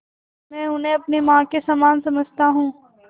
मैं उन्हें अपनी माँ के समान समझता हूँ